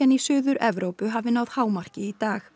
í Suður Evrópu hafi náð hámarki í dag